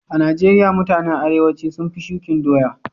A'Nijeria mutanen arewanci sun fi shukin doya.